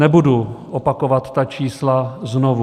Nebudu opakovat ta čísla znovu.